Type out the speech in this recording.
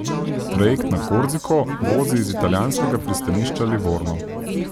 Trajekt na Korziko vozi iz italijanskega pristanišča Livorno.